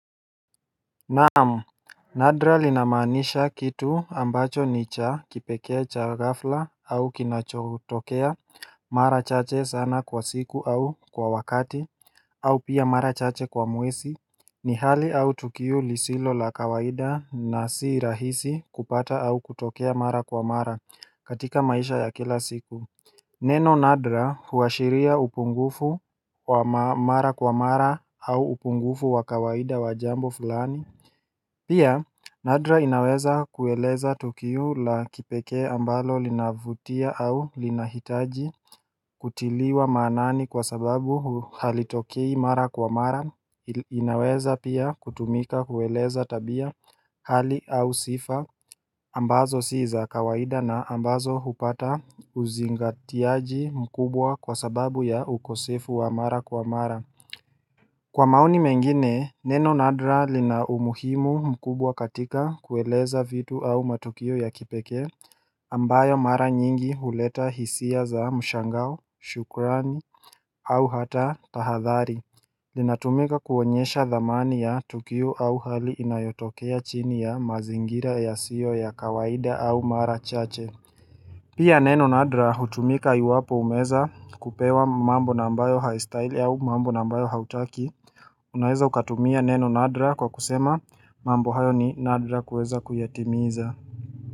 Naam nadra lina maanisha kitu ambacho ni cha kipekee cha gafla au kinachotokea mara chache sana kwa siku au kwa wakati au pia mara chache kwa mwesi ni hali au tukio lisilo la kawaida na si rahisi kupata au kutokea mara kwa mara katika maisha ya kila siku Neno nadra huashiria upungufu wa mara kwa mara au upungufu wa kawaida wajambo fulani Pia nadra inaweza kueleza tukio la kipekee ambalo linavutia au linahitaji kutiliwa maanani kwa sababu halitokei mara kwa mara inaweza pia kutumika kueleza tabia hali au sifa ambazo si za kawaida na ambazo hupata uzingatiaji mkubwa kwa sababu ya ukosefu wa mara kwa mara Kwa maoni mengine, Neno nadra lina umuhimu mkubwa katika kueleza vitu au matukio ya kipekee ambayo mara nyingi huleta hisia za mshangao, shukrani au hata tahadhari linatumika kuonyesha dhamani ya tukio au hali inayotokea chini ya mazingira yasiyo ya kawaida au mara chache Pia neno nadra hutumika yuwapo umeeza kupewa mambo na ambayo haistahiri au mambo na mbayo hautaki Unaweza ukatumia neno nadra kwa kusema mambo hayo ni nadra kueza kuyatimiza.